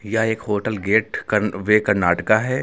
यह एक hotel gate कन वे कर्नाटका है।